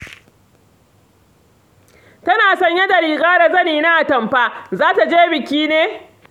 Tana sanye da riga da zani na atamfa, za ta je biki ne